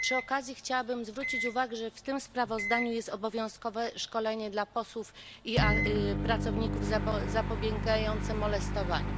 Przy okazji chciałabym zwrócić uwagę, że w tym sprawozdaniu jest obowiązkowe szkolenie dla posłów i pracowników zapobiegające molestowaniu.